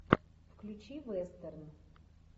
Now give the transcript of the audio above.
включи вестерн